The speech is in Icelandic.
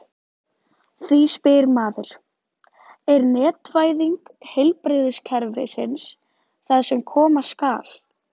Því spyr maður: Er netvæðing heilbrigðiskerfisins það sem koma skal?